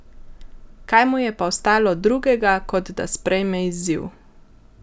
Kaj mu je pa ostalo drugega kot da sprejme izziv?